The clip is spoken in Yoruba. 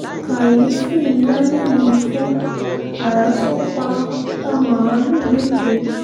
kàyééfì ńlá nílùú ìfọ́n ará ṣàn pa pa màálùú méje